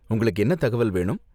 உங்களுக்கு என்ன தகவல் வேணும்?